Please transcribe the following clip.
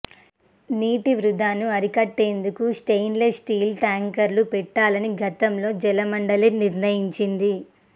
నీటి వృథాను అరికట్టేందుకు స్టెయిన్లెస్ స్టీల్ ట్యాంకర్లు పెట్టాలని గతంలో జలమండలి నిర్ణయించింది